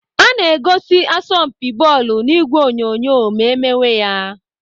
Ana egosi asọmpi bọọlụ n'ìgwè onyonyo ma emewe ya.